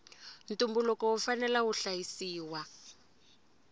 ntumbuluko wu fanela wu hlayisiwa